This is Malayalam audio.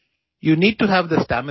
ഇവയെല്ലാം ചെസ്സിന് വളരെ പ്രധാനമാണ്